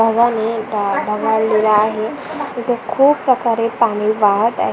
ढवाळलेला आहे इथे खुप प्रकारे पाणी वाहत आ--